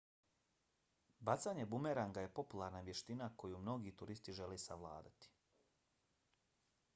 bacanje bumeranga je popularna vještina koju mnogi turisti žele savladati